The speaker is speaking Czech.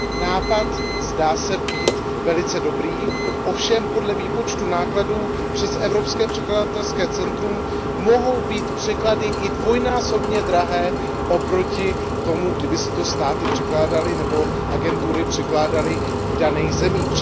Nápad zdá se být velice dobrý, ovšem podle výpočtů nákladů, přes Evropské překladatelské centrum mohou být překlady i dvojnásobně drahé oproti tomu, kdyby si to státy překládaly, nebo agentury překládaly v daných zemích.